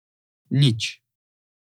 Nič ...